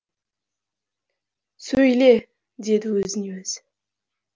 сөйле деді өзіне өзі